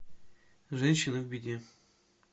женщина в беде